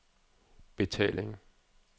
betaling